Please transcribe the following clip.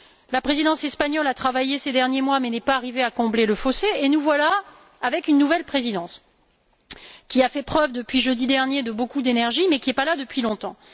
La présidence espagnole a travaillé ces derniers mois mais n'est pas arrivée à combler le fossé, et nous voilà avec une nouvelle présidence qui a fait preuve, depuis jeudi dernier, de beaucoup d'énergie, mais qui n'est pas là depuis longtemps.